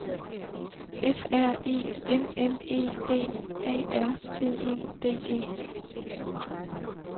F R E M M E D A R T E D E